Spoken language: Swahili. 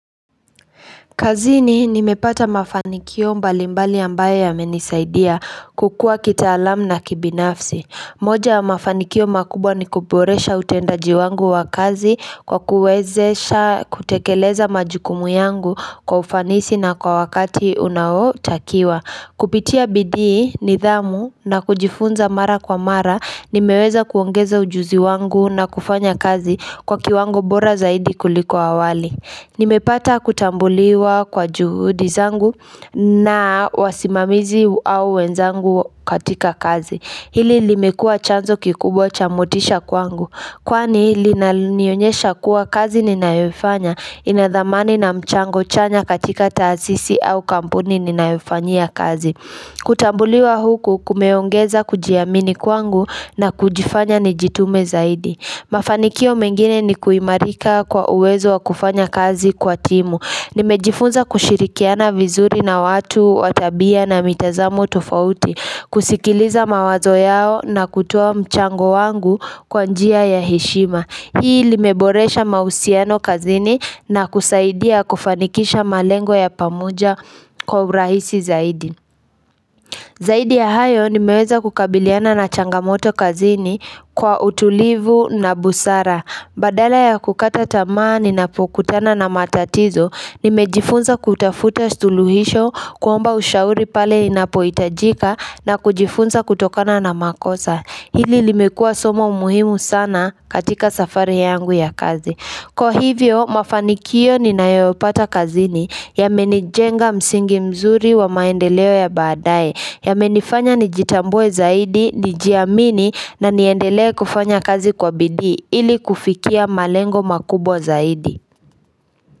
Kazini nimepata mafanikio mbalimbali ambayo yamenisaidia kukua kitaalamu na kibinafsi moja mafanikio makubwa ni kuboresha utendaji wangu wa kazi kwa kuwezesha kutekeleza majukumu yangu kwa ufanisi na kwa wakati unaotakiwa Kupitia bidii nidhamu na kujifunza mara kwa mara nimeweza kuongeza ujuzi wangu na kufanya kazi kwa kiwango bora zaidi kuliko awali Nimepata kutambuliwa kwa juhudi zangu na wasimamizi au wenzangu katika kazi Hili limekua chanzo kikubwa cha motisha kwangu Kwani linanionyesha kuwa kazi ninayofanya ina dhamani na mchango chanya katika taasisi au kampuni ninayofanyia kazi kutambuliwa huku kumeongeza kujiamini kwangu na kujifanya ni jitume zaidi Mafanikio mengine ni kuimarika kwa uwezo wa kufanya kazi kwa timu. Nimejifunza kushirikiana vizuri na watu watabia na mitazamu tofauti. Kusikiliza mawazo yao na kutua mchango wangu kwa njia ya heshima. Hii limeboresha mahusiano kazini na kusaidia kufanikisha malengo ya pamoja kwa urahisi zaidi. Zaidi ya hayo nimeweza kukabiliana na changamoto kazini kwa utulivu na busara. Badala ya kukata tamaa ninapokutana na matatizo, nimejifunza kutafuta suluhisho kuomba ushauri pale inapohitajika na kujifunza kutokana na makosa. Hili limekua somo umuhimu sana katika safari yangu ya kazi. Kwa hivyo mafanikio ninayopata kazini yamenijenga msingi mzuri wa maendeleo ya badaaye yamenifanya nijitambue zaidi, nijiamini na niendelee kufanya kazi kwa bidii ili kufikia malengo makubwa zaidi.